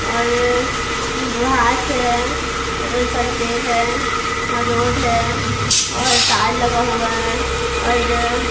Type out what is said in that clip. और घास है बहुत सारी पेर हैं और रोड है और तार लगा हुआ है और--